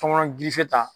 Tɔmɔnɔ gilife ta